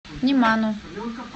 неману